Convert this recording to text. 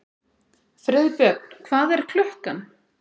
Friðbjörn, hvað er klukkan?